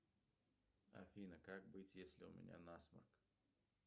афина как быть если у меня насморк